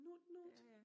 Nut nut